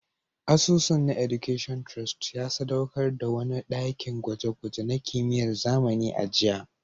Asusun na Education Trust ya sadaukar da wani dakin gwaje-gwaje na kimiyyar zamani a jiya